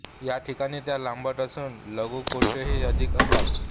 या ठिकाणी त्या लांबट असून लघुकोशही अधिक असतात